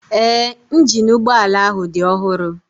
Ee, injini ụgbọala ahụ dị ọhụrụ